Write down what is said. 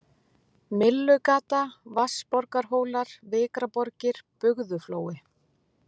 Myllugata, Vatnsborgarhólar, Vikraborgir, Bugðuflói